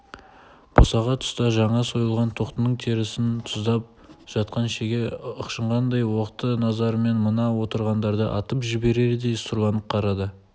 босаға тұста жаңа сойылған тоқтының терісін тұздап жатқан шеге ышқынғандай оқты назарымен мына отырғаңдарды атып жіберердей сұрланып қарады